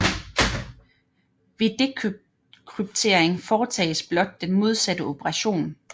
Ved dekryptering foretages blot den modsatte operation